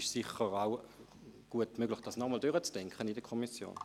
Es ist sicher auch gut möglich, dies in der Kommission nochmals gut zu überdenken.